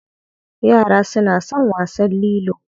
Yara suna son wasan lilo.